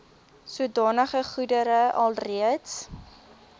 sodanige goedere alreeds